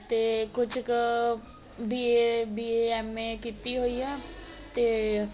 ਤੇ ਕੁੱਝ ਕ B.A B.A M.A ਕੀਤੀ ਹੋਈ ਏ ਤੇ